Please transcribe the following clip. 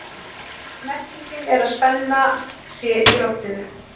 Merkingin er að spenna sé í loftinu.